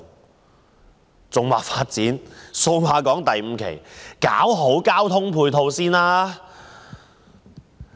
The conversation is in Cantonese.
我認為與其發展數碼港第五期，不如先搞好交通配套。